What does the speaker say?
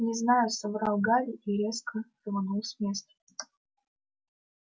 не знаю соврал гарри и резко рванул с места